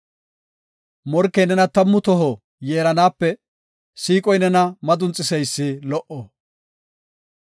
Morkey nena tammu toho yeeranaape siiqoy nena madunxiseysi lo77o.